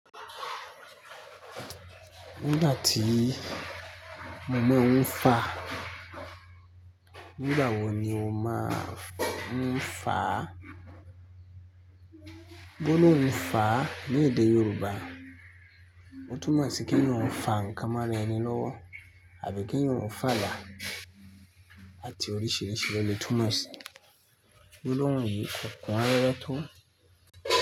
Nígbà tí mọ̀ má ń fà, nígbà wo ni o máa ń fà? Bó ló ń fà ní èdè Yorùbá? Ó túnmọ̀ sí kí ń yóò fà nǹkan mọ́ra ẹni lọ́wọ́ àbí kí ń yóò fàlà àti oríṣìíríṣìí ló le túnmọ̀ sí. Gbólóhùn yí kò kún rárá tó?